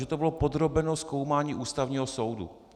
Že to bylo podrobeno zkoumání Ústavního soudu.